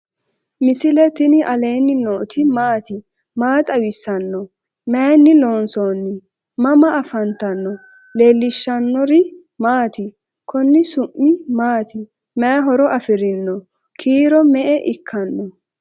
misile tini alenni nooti maati? maa xawissanno? Maayinni loonisoonni? mama affanttanno? leelishanori maati? konni su'mi maati? mayi horo afirinno? kiiro me'e ikkanno?